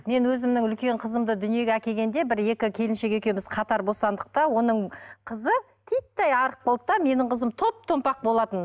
мен өзімнің үлкен қызымды дүниеге әкелгенде бір екі келіншек екеуміз қатар босандық та оның қызы титтей арық болды да менің қызым топ томпақ болатын